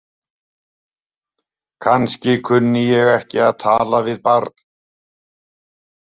Kannski kunni ég ekki að tala við barn.